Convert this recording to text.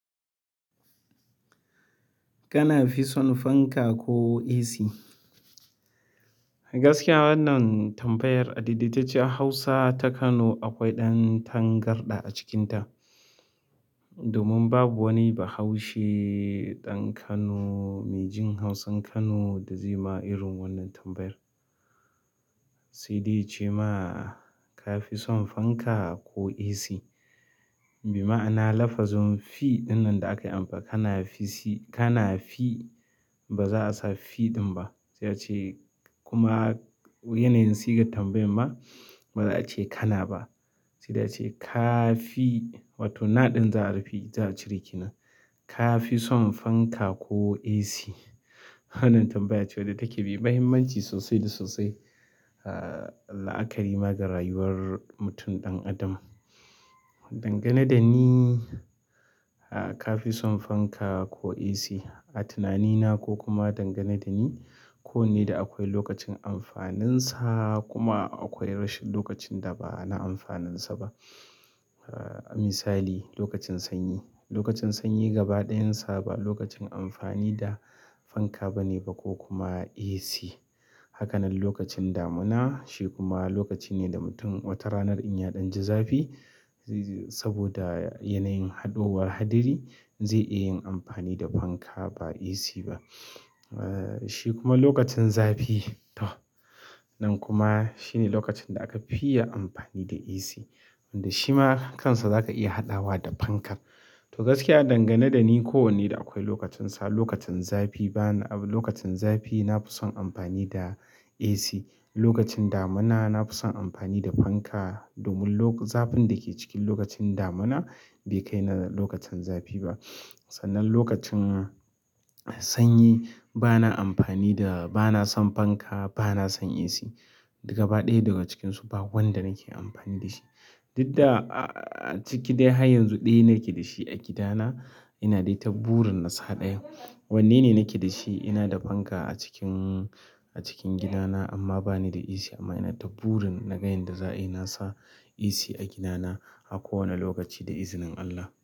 Kana fi son fanka ko AC? Gaskiya wannan tambayar a daidaitacciyar Hausa ta Kano akwai ɗan tangarɗa a cikinta. Domin babu wani bahaushe ɗan Kano mai jin Hausan Kano da zai ma irin wannan tambayar. Sai dai ya ce ma, "Ka fi son fanka ko AC?" maima'ana lafazun "fi" ɗin nan da aka yi amfa, "kana fi si, kana fi", ba za a sa "fi" ɗin ba. Sai a ce kuma yanayin sigan tambayar ma ba za a ce "kana" ba. Sai dai a ce "ka fi", wato na ɗin za a rufe, za a cire ke nan. "Ka fi son fanka ko AC?" Wannan tambaya ce wan da take mai mahimmanci sosai da sosai, ahh, la'akari ma ga rayuwar mutum ɗan adam. Dangane da ni, ahh, ka fi son fanka ko AC, a tunanina ko kuma dangane da ni, kowanne da akwai lokacin amfaninsa kuma akwai rashin lokacin da ba na amfaninsa ba. Ahh, misali lokacin sanyi. Lokacin sanyi gaba ɗayinsa ba lokacin amfani da fanka ba ne ba ko kuma AC. Hakanan lokacin damuna shi kuma lokaci ne da mutum wata ranar in ya ɗanji zafi, zai. Saboda yanayin haɗuwar haɗari zai iya yin amfani da fanka ba AC ba. Ahh, shi kuma lokacin zafi to, nan kuma shi ne lokacin da aka fi iya amfani da AC wanda shi ma kansa zaka iya haɗawa da fankar. To gaskiya dangane da ni kowanne da akwai lokacinsa. Lokacin zafi bana, lokacin zafi na fi son amfani da AC. Lokacin damuna na fi son amfani da fanka domin lo-- zafin da ke cikin lokacin damuna bai kai na lokacin zafi ba. Sannan lokacin sanyi bana amfani da, bana son fanka, bana son AC. Daga ba ɗaya daga cikinsu ba wanda nake amfani da shi. Didda a-a-a ciki dai har yanzu ɗaya nake da shi a gidana ina dai ta ɓurin na sa ɗayan. Wanne ne nake da shi? Ina da fanka a cikin, a cikin gidana amma bani da AC amma ina ta ɓurin na ga yen da za ayi na sa AC a gidana a kowane lokaci da izinin Allah.